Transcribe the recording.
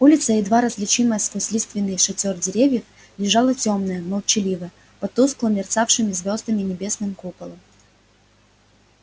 улица едва различимая сквозь лиственный шатёр деревьев лежала тёмная молчаливая под тускло мерцавшим звёздами небесным куполом